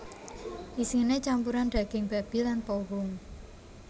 Isiné campuran daging babi lan pohung